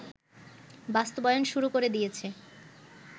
বাস্তবায়ন শুরু করে দিয়েছে